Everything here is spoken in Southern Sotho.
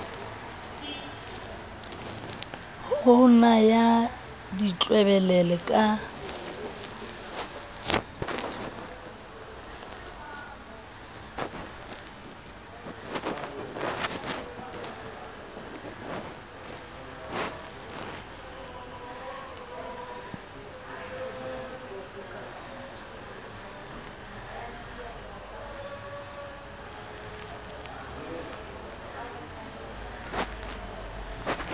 ho na ya ditlwebelele ka